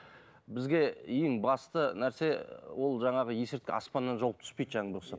бізге ең басты нәрсе ол жаңағы есірткі аспаннан жауып түспейді жаңбырға ұқсап